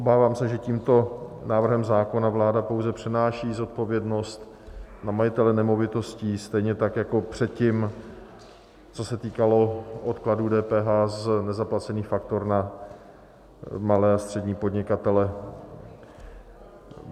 Obávám se, že tímto návrhem zákona vláda pouze přenáší zodpovědnost na majitele nemovitostí, stejně tak jako předtím, co se týkalo odkladu DPH z nezaplacených faktur, na malé a střední podnikatele.